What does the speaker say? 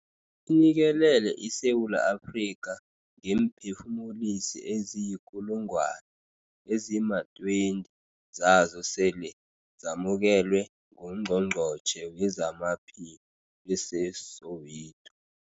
inikelele iSewula Afrika ngeemphefumulisi eziyikulungwana, ezima-20 zazo sele zamukelwe nguNgqongqothe wezamaPhi eseSoweto.